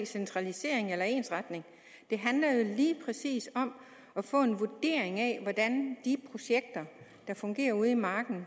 centralisering eller ensretning det handler jo lige præcis om at få en vurdering af hvordan de projekter der fungerer ude i marken